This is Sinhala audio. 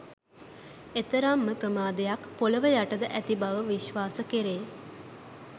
එතරම්ම ප්‍රමාණයක් පොළොව යටද ඇති බව විශ්වාස කෙරේ